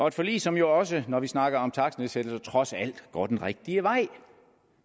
et forlig som jo også når vi snakker om takstnedsættelser trods alt går den rigtige vej